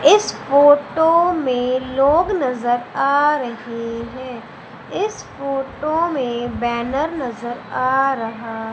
इस फोटो में लोग नजर आ रहे हैं इस फोटो में बैनर नजर आ रहा--